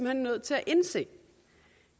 hen nødt til at indse